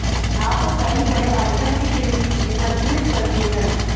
आप कई बड़े आइटम के शरीर एकत्रित करते हैं